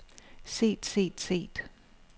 set set set